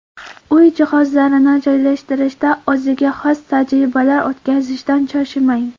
Uy jihozlarini joylashtirishda o‘ziga xos tajribalar o‘tkazishdan cho‘chimang.